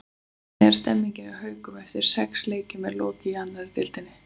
Hvernig er stemmingin hjá Haukunum eftir að sex leikjum er lokið í annarri deildinni?